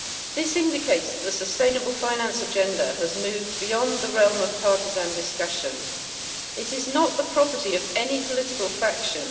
This indicates that the sustainable finance agenda has moved beyond the realm of partisan discussion. It is not the property of any political faction.